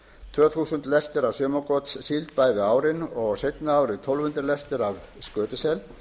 tvö þúsund lestir af sumargotssíld bæði árin og seinna árið tólf hundruð lestir af skötusel